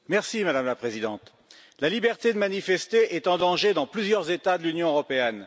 Madame la Présidente, la liberté de manifester est en danger dans plusieurs États de l'Union européenne.